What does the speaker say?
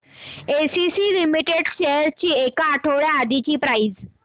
ACC limited shares ची एक आठवड्या आधीची प्राइस